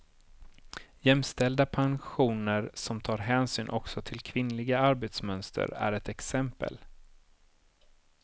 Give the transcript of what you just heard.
Jämställda pensioner som tar hänsyn också till kvinnliga arbetsmönster är ett exempel.